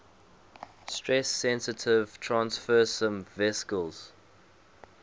stress sensitive transfersome vesicles